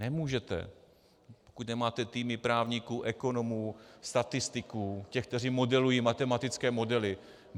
Nemůžete, pokud nemáte týmy právníků, ekonomů, statistiků, těch, kteří modelují matematické modely.